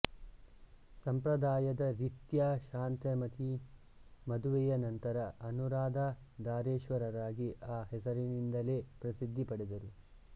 ಸಂಪ್ರದಾಯದ ರೀತ್ಯ ಶಾಂತಾಮತಿ ಮದುವೆಯ ನಂತರ ಅನುರಾಧಾ ಧಾರೇಶ್ವರರಾಗಿ ಆ ಹೆಸರಿನಿಂದಲೇ ಪ್ರಸಿದ್ಧಿ ಪಡೆದರು